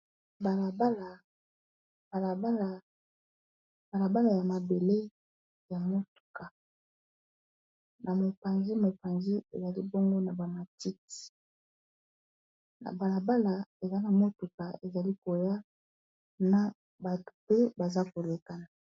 balabala ya mabele ya motuka na mopanzi ezali bongo na bamatiti na balabala eza na motuka ezali koya na bato pe baza kolekana